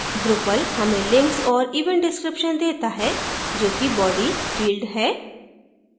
drupal हमें links और event description देता है जो कि body field है